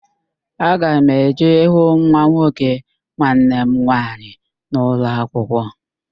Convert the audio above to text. Aga m eje ịhụ nwa nwoke nwanne m nwaanyị na ụlọakwụkwọ